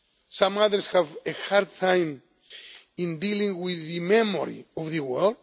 job. Some others have a hard time in dealing with the memory of the